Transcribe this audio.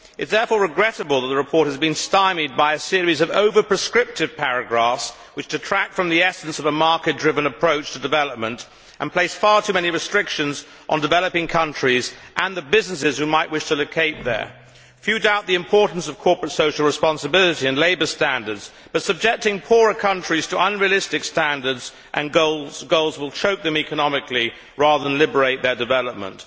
It is therefore regrettable that the report has been stymied by a series of over prescriptive paragraphs which detract from the essence of a market driven approach to development and place far too many restrictions on developing countries and the businesses which might wish to locate there. Few doubt the importance of corporate social responsibility and labour standards, but subjecting poorer countries to unrealistic standards and goals will choke them economically rather than liberate their development.